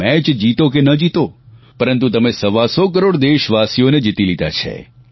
match જીતો કે ન જીતો પરંતુ તમે સવા સો કરોડ દેશવાસીઓને જીતી લીધા છે